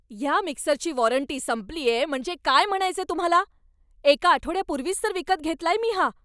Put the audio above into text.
ह्या मिक्सरची वॉरंटी संपलीये म्हणजे काय म्हणायचंय तुम्हाला? एका आठवड्यापूर्वीच तर विकत घेतलाय मी हा!